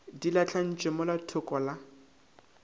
di lahlantšwe mola thoko la